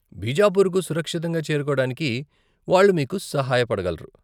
బీజాపుర్కు సురక్షితంగా చేరుకోవడానికి వాళ్ళు మీకు సహాయపడగలరు.